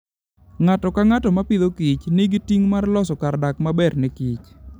Ng'ato ka ng'ato ma Agriculture and Food, nigi ting' mar loso kar dak maber ne kich.